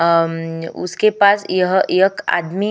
आम उसके पास यह एक आदमी --